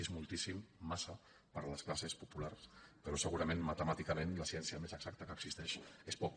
és moltíssim massa per a les classes populars però segurament matemàticament la ciència més exacta que existeix és poc